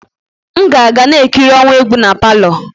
M ga-aga na-ekiri ọwa egwu na palọ.